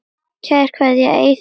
Kær kveðja, Eiður Andri.